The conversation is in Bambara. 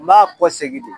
N b'a kɔ segin de